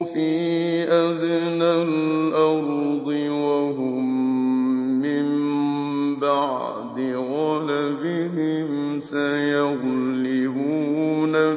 فِي أَدْنَى الْأَرْضِ وَهُم مِّن بَعْدِ غَلَبِهِمْ سَيَغْلِبُونَ